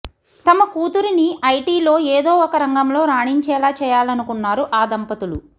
తమ కూతురిని వీటిలో ఏదో ఒక రంగంలో రాణించేలా చేయాలనుకున్నారు ఆ దంపతులు